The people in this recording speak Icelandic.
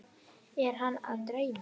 Er hana að dreyma?